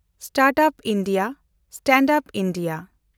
stand-up India, stand up India